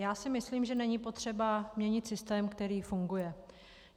Já si myslím, že není potřeba měnit systém, který funguje.